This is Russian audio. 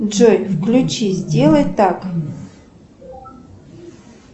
джой включи сделай так